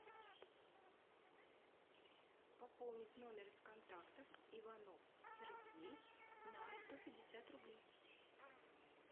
пополнить номер из контактов иванов сергей на сто пятьдесят рублей